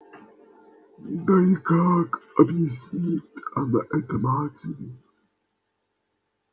да и как объяснит она это матери